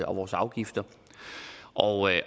og vores afgifter og